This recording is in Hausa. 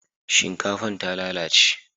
shinkafan ta lalace